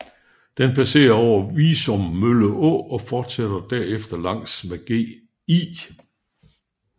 Den passere over Viummølle Å og forsætter derefter langs med Gl